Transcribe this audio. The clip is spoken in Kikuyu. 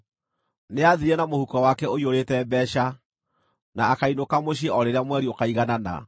Nĩathiire na mũhuko wake ũiyũrĩte mbeeca, na akainũka mũciĩ o rĩrĩa mweri ũkaiganana.”